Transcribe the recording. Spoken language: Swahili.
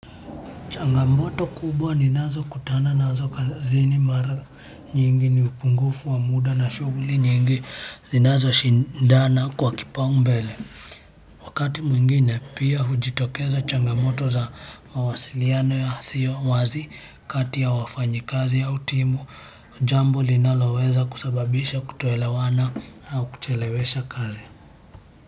Changamoto kubwa ninazokutana nazo kazini mara nyingi ni upungufu wa muda na shughuli nyingi zinazoshindana kwa kipaumbele. Wakati mwingine pia hujitokeza changamoto za mawasiliano yasiyo wazi kati ya wafanyakazi wa timu. Jambo linaloweza kusababisha kutoelewana au kuchelewesha kazi.